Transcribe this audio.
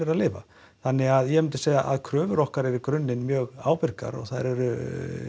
að lifa þannig ég myndi segja að kröfur okkar eru í grunninn mjög ábyrgar og þær eru